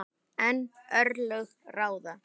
En örlög ráða.